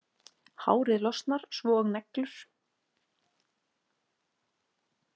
Hárið losnar svo og neglur.